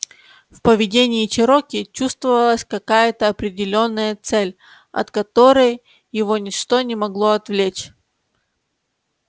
в поведении чероки чувствовалась какая-то определённая цель от которой его ничто не могло отвлечь